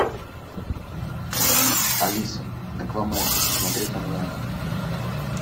алиса аквамен смотреть онлайн